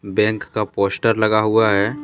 Bank का poster लगा हुआ है।